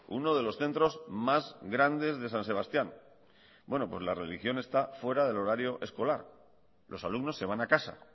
uno de los centros más grandes de san sebastián bueno pues la religión está fuera del horario escolar los alumnos se van a casa